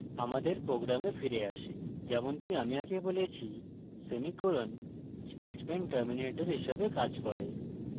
আমাদের প্রোগ্রামে ফিরে আসি যেমনকি আমি আগে বলেছি সেমিকোলন স্টেটমেন্ট টার্মিনেটর হিসাবে কাজ করে